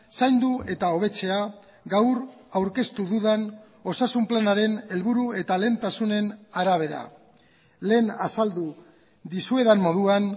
zaindu eta hobetzea gaur aurkeztu dudan osasun planaren helburu eta lehentasunen arabera lehen azaldu dizuedan moduan